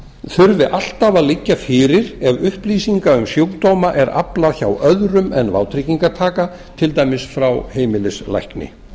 þurfi alltaf að liggja fyrir ef upplýsinga um sjúkdóma er aflað hjá öðrum en vátryggingartaka til dæmis frá heimilislækni